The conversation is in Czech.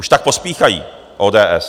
Proč tak pospíchají, ODS?